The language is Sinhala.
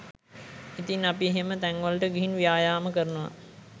ඉතිං අපි එහෙම තැන්වලට ගිහින් ව්‍යායාම කරනවා